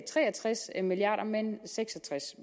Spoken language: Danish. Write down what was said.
tre og tres milliard kr men seks og tres